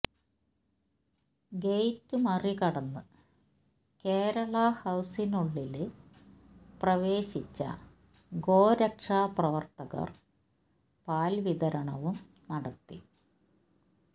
gate മറികടന്ന് കേരള ഹൌസിനുള്ളില് പ്രവേശിച്ച ഗോരക്ഷാ പ്രവര്ത്തകര് പാല് വിതരണവും നടത്തി